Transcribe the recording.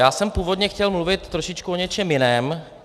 Já jsem původně chtěl mluvit trošičku o něčem jiném.